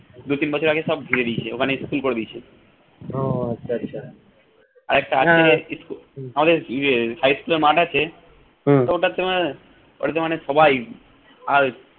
দুই তিন বছর আগে সব ধুয়ে দিয়েছে ওখানে school করে দিয়েছে আরেকটা high school এর মাঠ আছে তো ওটাতে ঐটাতে মানে সবাই